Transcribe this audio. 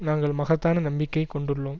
நாங்கள் மகத்தான நம்பிக்கை கொண்டுள்ளோம்